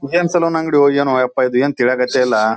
ಹುಹೆನ್ salon ಅಂಗ್ಡಿ ಹೊಯ್ ಏನೋ ಅಪ್ಪ ಇದೇನ್ ತಿಳಿಯಕ್ಹತ್ತೆಲಾ.